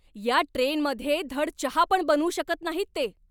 या ट्रेनमध्ये धड चहा पण बनवू शकत नाहीत ते!